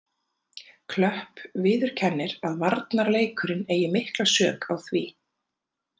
Klöpp viðurkennir að varnarleikurinn eigi mikla sök á því.